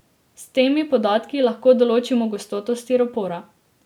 S temi podatki lahko določimo gostoto stiropora.